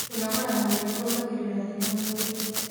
Kũnogora mwĩrĩ kũongagĩrĩra hinya mwĩrĩĩnĩ